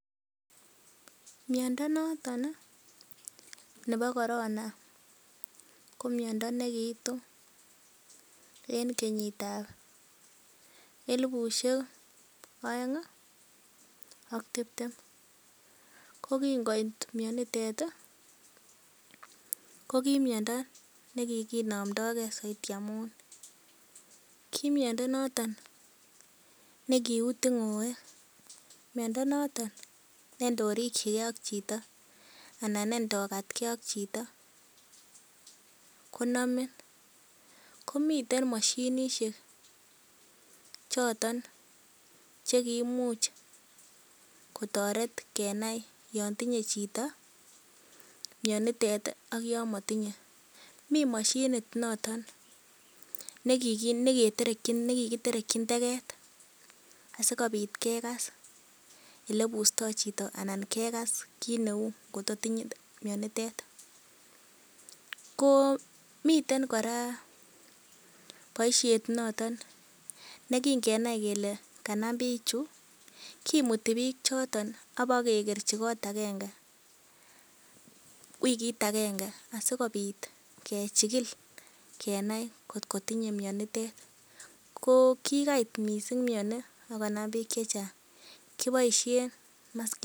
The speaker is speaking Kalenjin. miondo noton nebo Corona ko miondo nekiitu en kenyitab elifusiek oeng ak tibtem. Ko kin koit mionitet ko ki miondo ne kiginomdoge soiti amun kimiondo noton ne kiu tung'oek. Miondo noton ne ndorikige ak chito anan ne ndokatge ak chito konomin. Komiten mashinishek choton che kiimuch kotoret kenae yon tinye chito mianitet ak yon motinye. Mi moshinit noton nekikiterekin teget asikobit kegas ele ibusto chito anan kekas kit neu kotko tinye mianitet. Ko miten kora boisiet notet ne kingenai kele kanam bichu kimuti bichoton ak kiebakekerji koot agenge wikit agenge asikobit kechikil kenai kotko tinye mianitet. Ko kikait mising miani ak konam biik che chang kigiboishen maskit.